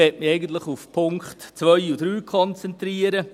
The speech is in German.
Ich möchte mich eigentlich auf die Punkte 2 und 3 konzentrieren.